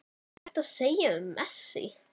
Hvað er hægt að segja um Messi?